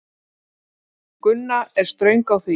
Gunna er ströng á því.